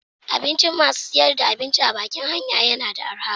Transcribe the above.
Abincin masu sayar da abinci a bakin hanya yana da araha.